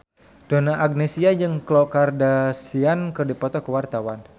Donna Agnesia jeung Khloe Kardashian keur dipoto ku wartawan